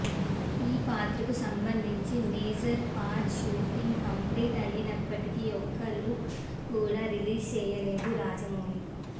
ఈ పాత్రకు సంబంధించి మేజర్ పార్ట్ షూటింగ్ కంప్లీట్ అయినప్పటికీ ఒక్క లుక్ కూడా రిలీజ్ చేయలేదు రాజమౌళి